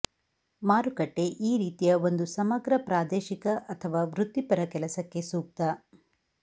ಮಾರುಕಟ್ಟೆ ಈ ರೀತಿಯ ಒಂದು ಸಮಗ್ರ ಪ್ರಾದೇಶಿಕ ಅಥವಾ ವೃತ್ತಿಪರ ಕೆಲಸಕ್ಕೆ ಸೂಕ್ತ